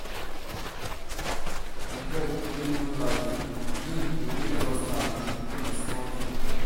di joy wey new life bring dey make us happy no be small tin.